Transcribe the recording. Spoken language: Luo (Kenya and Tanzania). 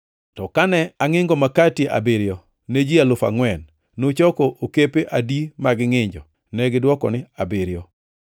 “To kane angʼingo makati abiriyo ne ji alufu angʼwen, nuchoko okepe adi mag ngʼinjo?” Negidwoke niya, “Abiriyo.”